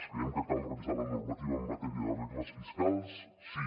creiem que cal revisar la normativa en matèria de regles fiscals sí